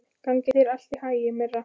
Gangi þér allt í haginn, Myrra.